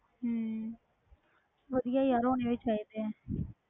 ਹਮ ਵਧੀਆ ਯਾਰ ਹੋਣੇ ਵੀ ਚਾਹੀਦੇ ਹੈ,